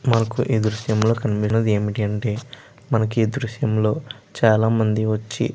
మనకి ఈ దృశ్యం లో కనబడింది ఏంటి అంటే మనకి ఈ దృశ్యం లో చాల మంది వచ్చి --